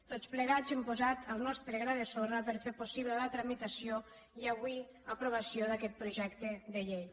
tots plegats hem posat el nostre gra de sorra per fer possible la tramitació i avui aprovació d’aquest projecte de llei